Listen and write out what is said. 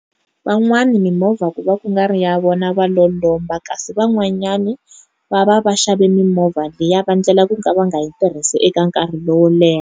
van'wani mimovha ku va ku nga ri ya vona va lo lomba kasi van'wanyani va va vaxavi mimovha liya va endlela ku nga va nga yi tirhisi eka nkarhi lowo leha.